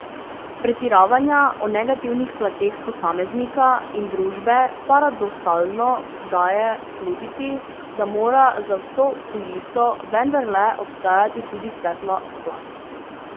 Pretiravanja o negativnih plateh posameznika in družbe paradoksalno daje slutiti, da mora za vso kuliso vendarle obstajati tudi svetla plat.